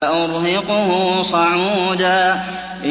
سَأُرْهِقُهُ صَعُودًا